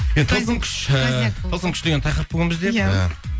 енді тылсым күш ыыы тылсым күш деген тақырып бүгін бізде иә